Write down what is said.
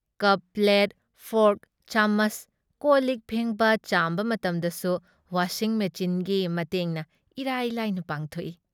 ꯀꯞ plate, fork, ꯆꯥꯃꯆ, ꯀꯣꯜꯂꯤꯛ ꯐꯦꯡꯕ ꯆꯥꯝꯕ ꯃꯇꯝꯗꯁꯨ ꯋꯥꯁꯤꯡ ꯃꯦꯆꯤꯟꯒꯤ ꯃꯇꯦꯡꯅ ꯏꯔꯥꯏ ꯂꯥꯏꯅ ꯄꯥꯡꯊꯣꯛꯏ ꯫